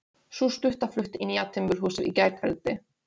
Sú stutta flutti í nýja timburhúsið í gærkveldi.